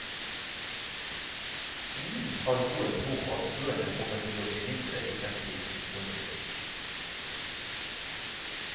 Ingen har noen tro på at køene kommer til å bli mindre i fremtiden. punktum